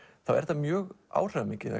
þá er þetta mjög áhrifamikið